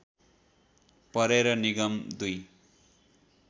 परेर निगम दुई